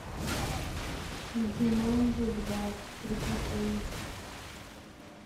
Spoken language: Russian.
джуманджи два приключения